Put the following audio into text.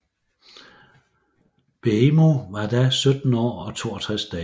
Beijmo var da 17 år og 62 dage